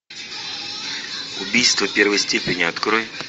убийство первой степени открой